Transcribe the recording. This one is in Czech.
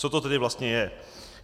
Co to tedy vlastně je?